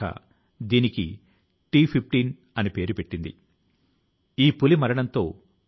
ఈ కోర్సు ను institute ప్రారంభించినప్పుడు అద్భుతమైన స్పందన వచ్చింది